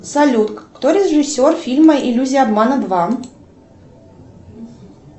салют кто режиссер фильма иллюзия обмана два